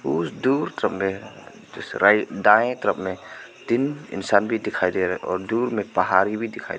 उस दूर तरफ में दायें तरफ में तीन इंसान भी दिखाई दे रहा है और दूर में पहाड़ी भी दिखाई दे --